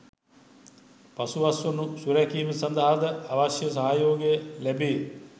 පසු අස්වනු සුරැුකීම සඳහාද අවශ්‍ය සහයෝගය ලැබේ